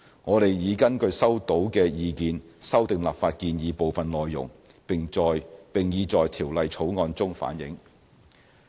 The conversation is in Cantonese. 我們已根據收到的意見修訂立法建議的部分內容，並已在《條例草案》中反映。